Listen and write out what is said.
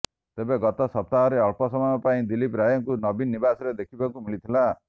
ତେବେ ଗତ ସପ୍ତାହରେ ଅଳ୍ପ ସମୟ ପାଇଁ ଦିଲ୍ଲୀପ ରାୟଙ୍କୁ ନବୀନ ନିବାସରେ ଦେଖିବାକୁ ମିଳିଥିଲା